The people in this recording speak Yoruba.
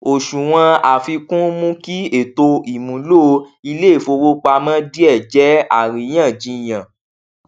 òṣùwọn àfikún mú kí ètò ìmúlò iléìfowópamọ díẹ jẹ àríyànjiyàn